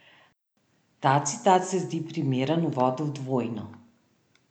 Ta citat se zdi primeren uvod v Dvojino.